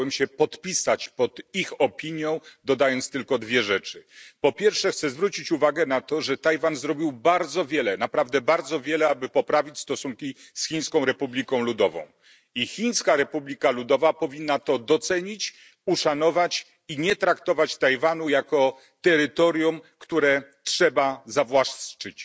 Chciałbym się podpisać pod ich opinią, dodając tylko dwie rzeczy. Po pierwsze, chcę zwrócić uwagę na fakt, że Tajwan zrobił bardzo wiele, naprawdę bardzo wiele, aby poprawić stosunki z Chińską Republiką Ludową, i Chińska Republika Ludowa powinna to docenić, uszanować i nie traktować Tajwanu jako terytorium, które trzeba zawłaszczyć.